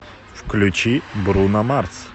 включи бруно марс